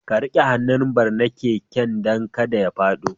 Ka rike hannun bar na keken dan kada ya fado.